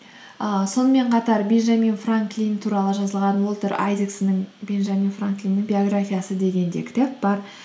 ііі сонымен қатар бенджамин франклин туралы жазылған уолтер айзексінің бенджамин франклиннің биографиясы деген де кітап бар